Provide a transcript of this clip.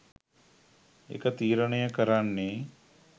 ඒක තීරණය කරන්නේ